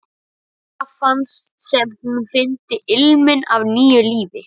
Menn biskups héldu um fætur honum.